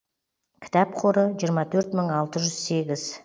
кітап қоры жиырма төрт мың алты жүз сегіз